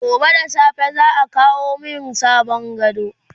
gobe da safe za'a kawo min sabon gado